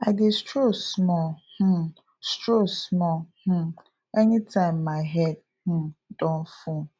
i dey stroll small um stroll small um anytime my head um don full